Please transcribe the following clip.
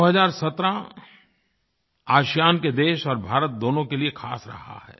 2017 ASEAN ASEAN के देश और भारतदोनों के लिए ख़ास रहा है